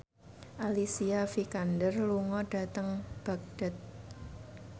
Alicia Vikander lunga dhateng Baghdad